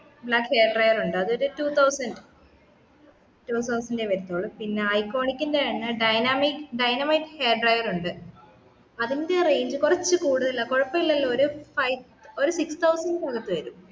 black hair dryer ഉണ്ട് അതു ഒരു two thousand two thousand ഏ വരുത്തുള്ളു പിന്നാ ഐക്കണിക്കിന്റെ തന്നേ dynamic dynamate hair drawer ഉണ്ട് അതിൻ്റെ range കുറച്ചു കൂടുതലാ കുഴപ്പല്ലല്ലോ ഒരു five ഒരു six thousand ൻറെ അകത്തു വരും